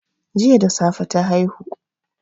Jiya da safe ta haihu